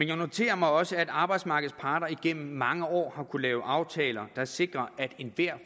jeg noterer mig også at arbejdsmarkedets parter igennem mange år har kunnet lavet aftaler der sikrer at enhver